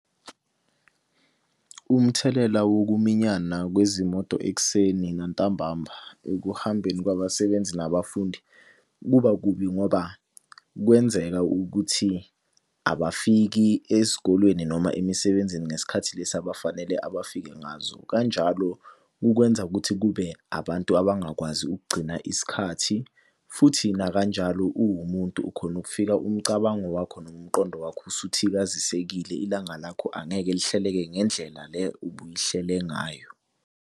Umthelela wokuminyana kwezimoto ekuseni nantambama ekuhambeni kwabasebenzi nabafundi, kuba kubi ngoba kwenzeka ukuthi abafiki ezikolweni noma emisebenzini ngesikhathi lesi abafanele abafike ngazo. Kanjalo kukwenza ukuthi kube abantu abangakwazi ukugcina isikhathi. Futhi nakanjalo uwumuntu ukhona ukufika umcabango wakho nomqondo wakho usuthikazisekile, ilanga lakho angeke lihleleke ngendlela le ubuyihlele ngayo.